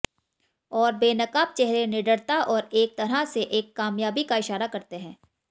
और बेनकाब चेहरे निडरता और एक तरह से एक कामयाबी का इशारा करते हैं